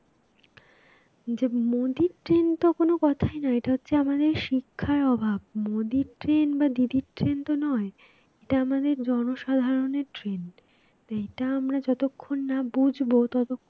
যে মোদীর train তো কোন কথাই না এটা হচ্ছে আমাদের শিক্ষার অভাব, মোদীর train বা দিদির train তো নয় এটা আমাদের জনসাধারণের train এইটা আমরা যতক্ষণ না বুঝবো তত